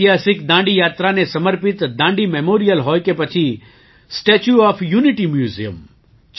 ઐતિહાસિક દાંડી યાત્રાને સમર્પિત દાંડી મેમોરિયલ હોય કે પછી સ્ટેચ્યુ ઓએફ યુનિટી મ્યુઝિયમ